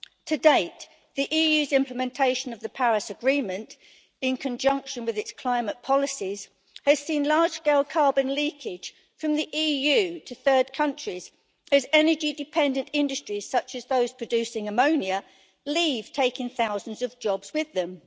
To date, the EU's implementation of the Paris Agreement, in conjunction with its climate policies, has seen large-scale carbon leakage from the EU to third countries, whose energy dependent industries, such as those producing ammonia, leave, taking thousands of jobs with them.